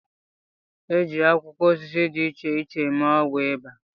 E ji akwụkwọ osisi di iche iche eme ọgwụ Ịba